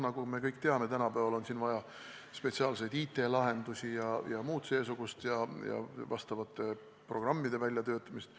Nagu me kõik teame, tänapäeval on vaja spetsiaalseid IT-lahendusi jms vastavate programmide väljatöötamist.